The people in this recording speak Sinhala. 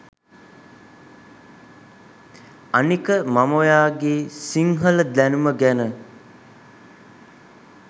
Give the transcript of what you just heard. අනික මම ඔයාගෙ සිංහල දැනුම ගැන